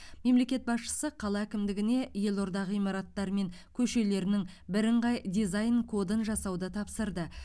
мемлекет басшысы қала әкімдігіне елорда ғимараттары мен көшелерінің бірыңғай дизайн кодын жасауды тапсырды